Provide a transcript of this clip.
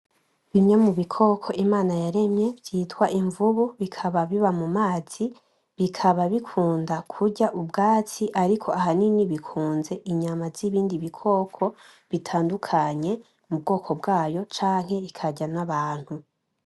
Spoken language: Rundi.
Bimye mubikoko Imana yaremye vyitwa imvubu, bikaba biba mu mazi, bikaba bikunda kurya ubwatsi ariko ahanini bikunze inyama z'ibindi bikoko bitandukanye mu bwoko bwayo canke ikarya n'abantu.